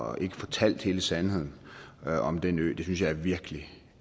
og ikke fortalt hele sandheden om den ø det synes jeg er virkelig